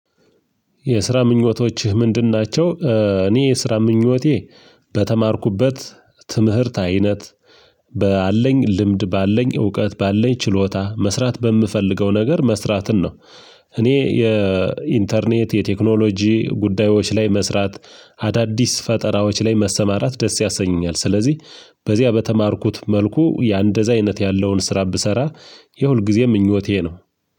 የስራ ምኞቶችህ ምንድን ናቸው? እኔ የስራ ምኞቴ በተማርኩበት ትምህርት አይነት ባለኝ ልምድ ባለኝ እውቀት ባለን ችሎታ መስራት በምፈልገው ነገር መስራትን ነው። እኔ የኢንተርኔት የቴክኖሎጂ ጉዳዮች ላይ መስራት አዳዲስ ፈጠራዎች ላይ መሰማራት ደስ ያሰኘኛል። ስለዚህ በዚያ በተማርኩት መልኩ የአንደዛ አይነት ያለውን ስራ ብሰራ የሁልጊዜ ምኞቴ ነው።